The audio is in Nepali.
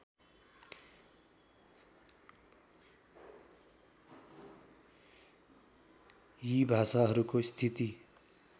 यी भाषाहरूको स्थिति